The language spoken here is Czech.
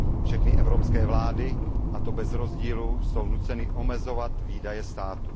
Všechny evropské vlády, a to bez rozdílu, jsou nuceny omezovat výdaje státu.